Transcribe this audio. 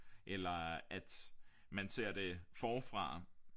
Eller at man ser det forfra